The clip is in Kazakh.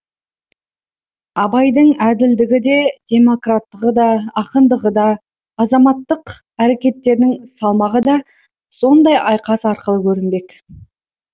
абайдың әділдігі де демократтығы да ақындығы да азаматтық әрекеттерінің салмағы да сондай айқас аркылы көрінбек